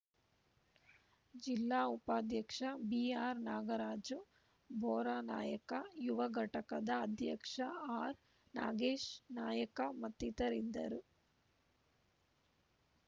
ಜಿಲ್ಲಾ ಉಪಾಧ್ಯಕ್ಷ ಬಿಆರ್‌ನಾಗರಾಜು ಬೋರನಾಯಕ ಯುವ ಘಟಕದ ಅಧ್ಯಕ್ಷ ಆರ್‌ನಾಗೇಶ್‌ನಾಯಕ ಮತ್ತಿತರರಿದ್ದರು